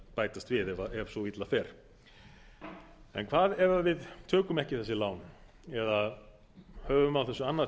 bætast við ef svo illa fer en hvað ef við tökum ekki þessi lán eða höfum á þessu